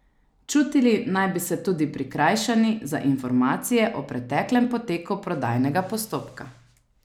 Čutili naj bi se tudi prikrajšani za informacije o preteklem poteku prodajnega postopka.